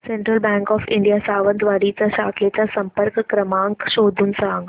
central bank of India Sawantwadi च्या शाखेचा संपर्क क्रमांक शोधून सांग